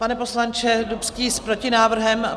Pane poslanče Dubský, s protinávrhem?